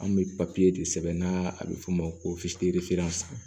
An bɛ de sɛbɛn n'a bɛ f'o ma ko